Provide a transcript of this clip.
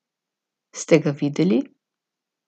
Ste ga videli?